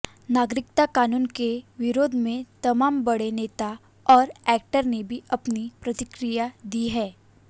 नागरिकता कानून के विरोध में तमाम बड़े नेता और एक्टर ने अपनी प्रतिक्रिया दी हैं